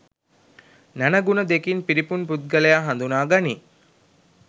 නැණ, ගුණ දෙකින් පිරිපුන් පුද්ගලයා හඳුනා ගනී.